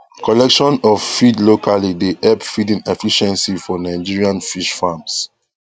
collection of feed locally dey help feeding efficiency for nigerian fish farms